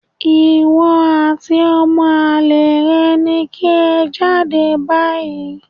Ìwọ àti ọmọ àlè rẹ ni kí ẹ jáde báyìí